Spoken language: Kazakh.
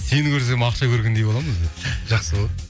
сені көрсем ақша көргендей боламын өзі жақсы ғой